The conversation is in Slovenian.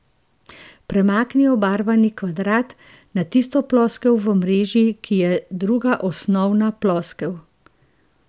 Premakni obarvani kvadrat na tisto ploskev v mreži, ki je druga osnovna ploskev.